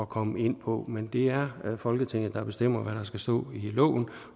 komme ind på men det er folketinget der bestemmer hvad der skal stå i loven